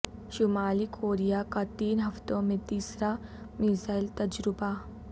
شمالی کوریا کا تین ہفتوں میں تیسرا میزائل تجربہ